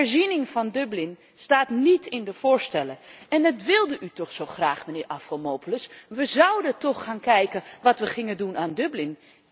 De herziening van Dublin staat niet in de voorstellen en dat wilde u toch zo graag, mijnheer Avramopoulos? We zouden toch gaan kijken wat we gingen doen aan Dublin?